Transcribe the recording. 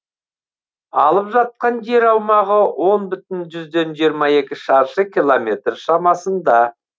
алып жатқан жер аумағы он бүтін жүзден жиырма екі шаршы километр шамасында